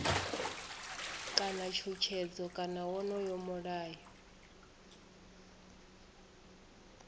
kana tshutshedzo kana wonoyo mulayo